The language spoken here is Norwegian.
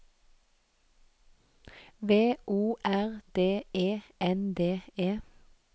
V O R D E N D E